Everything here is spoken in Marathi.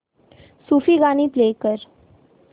सूफी गाणी प्ले कर